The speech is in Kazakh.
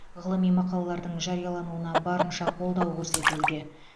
ғылыми мақалалардың жариялануына барынша қолдау көрсетілуде